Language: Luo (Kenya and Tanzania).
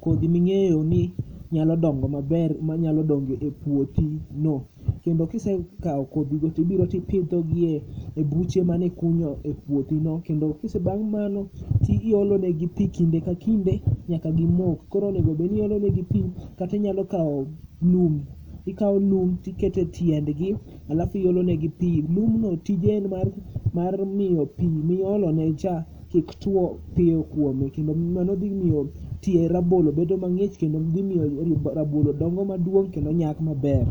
Kodhi ming'eyo ni nyalo dongo maber manyalo dongo e puothino. Kendo kisekawo kodhigo tibiro tipidhogi e buche mane ikunyo e puothino. Kendo bang' mano to iol negi pi kinde ka kinde nyaka gim, ok. Kor onego obed ni iolo negi gi, kata inyalo kawo lum, ikawo lum iketo negi etiendgi alafu kaeto iolo negi pi. Lumbno tije en mar miyo pi miolone cha kik tuo piyo kuome kendo mano dhi miyo tie rabolo bedo mang'ich thi. Kendo dhi miyo rabolo dongo maduong' kendo nyak maber.